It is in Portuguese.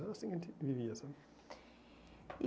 Era assim que a gente vivia, sabe.